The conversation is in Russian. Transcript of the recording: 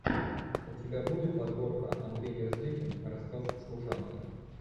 у тебя будет подборка андрей мерзликин рассказ служанки